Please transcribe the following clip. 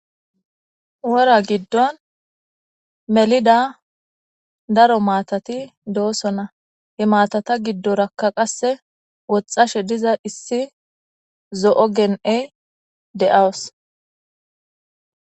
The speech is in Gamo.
wora giddon melida daro maatati doosona imatata giddorakka qasse woxxashe diza issi zo7o gen7ey de7aws